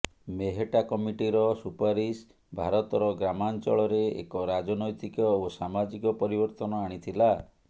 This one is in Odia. ମେହେଟ୍ଟା କମିଟିର ସୁପାରିଶ ଭାରତର ଗ୍ରାମାଞ୍ଚଳରେ ଏକ ରାଜନୈତିକ ଓ ସାମାଜିକ ପରିବର୍ତ୍ତନ ଆଣିଥିଲା